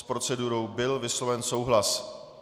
S procedurou byl vysloven souhlas.